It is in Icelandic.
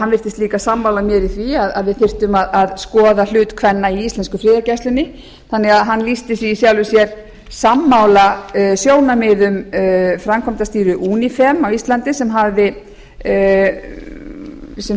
hann virtist líka sammála mér í því að við þyrftum að skoða hlut kvenna í íslensku friðargæslunni þannig að hann lýsti sig í sjálfu sér sammála sjónarmiðum framkvæmdastýru unifem á íslandi sem